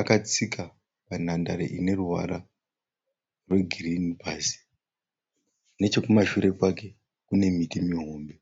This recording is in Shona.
Akatsika panhandare ineruvara rwegirinhi pasi. Nechekumashure kwake kune miti mihombe.